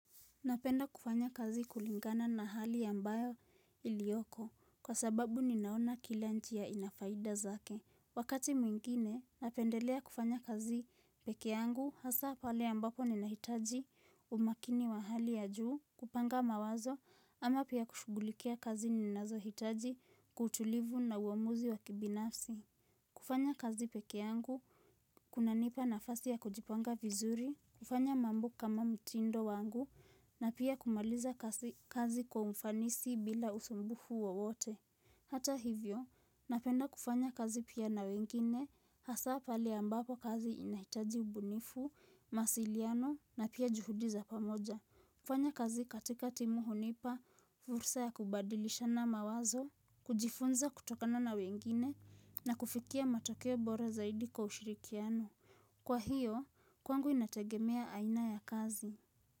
Napenda kufanya kazi kulingana na hali ambayo ilioko kwa sababu ninaona kila njia ina faida zake. Wakati mwingine napendelea kufanya kazi pekee yangu hasa pale ambapo ninahitaji umakini wa hali ya juu kupanga mawazo ama pia kushugulikia kazi ninazohitaji kutulivu na uamuzi wa kibinafsi. Kufanya kazi pekee yangu, kunanipa nafasi ya kujipanga vizuri, kufanya mambo kama mtindo wangu, na pia kumaliza kazi kwa ufanisi bila usumbufu wowote. Hata hivyo, napenda kufanya kazi pia na wengine, hasa pale ambapo kazi inahitaji ubunifu, mawasiliano, na pia juhudi za pamoja. Kufanya kazi katika timu hunipa, fursa ya kubadilishana mawazo, kujifunza kutokana na wengine na kufikia matokeo bora zaidi kwa ushirikiano. Kwa hiyo, kwangu inategemea aina ya kazi.